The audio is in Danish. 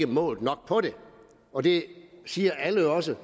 målt nok på det og det siger alle også